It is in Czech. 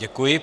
Děkuji.